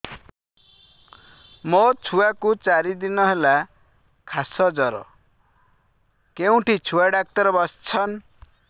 ମୋ ଛୁଆ କୁ ଚାରି ଦିନ ହେଲା ଖାସ ଜର କେଉଁଠି ଛୁଆ ଡାକ୍ତର ଵସ୍ଛନ୍